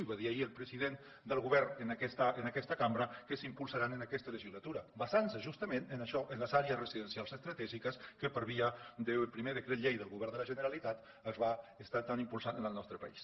i va dir ahir el president del govern en aquesta cambra que s’impulsaran en aquesta legislatura basant se justament en això en les àrees residencials estratègiques que per via del primer decret del govern de la generalitat ha estat impulsat en el nostre país